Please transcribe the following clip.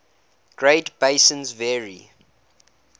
great basins vary